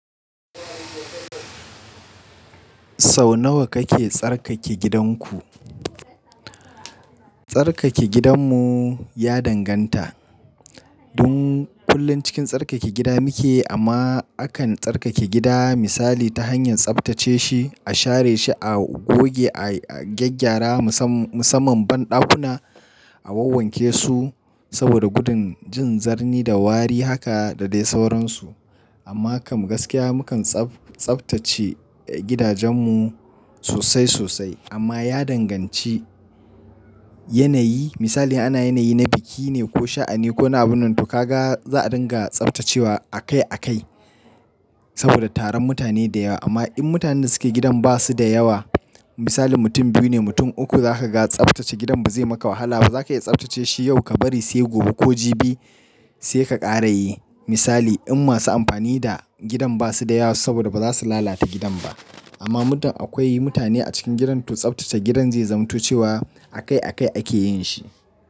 Sau nawa kake tsarkake gidanku? Tsarkake gidanmu ya danganta. Dun kullum cikin tsarkake gida muke amma akan tsarkake gida misali ta hanyar tsaftace shi, a share shi, a goge, a gyaggyara musamman banɗakuna, a wawwanke su saboda gudun jin zarni da wari haka da dai sauransu. Amma kam gaskiya mukan tsaftace gidajenmu sosai sosai amma ya danganci yanayi misali ana yanayi na biki ne ko sha'ani ko na abin nan to ka ga za a dinga tsaftacewa akai akai saboda taron mutane da yawa. Amma in mutanen da suke gidan ba su da yawa misali mutum biyu ne mutum uku za ka ga tsaftace gidan ba zai maka wahala ba. Za ka iya tsaftace shi yau ka bari sai gobe ko jibi sai ka ƙara yi misali in masu amfani da gidan ba su da yawa saboda ba za su lalata gidan ba. Amma muddum akwai mutane a cikin gidan to tsaftace gidan zai zamanto cewa akai akai ake yin shi.